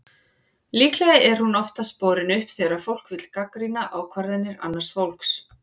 Líklega er hún oftast borin upp þegar fólk vill gagnrýna ákvarðanir annars fólks.